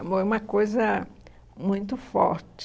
agora É uma coisa muito forte.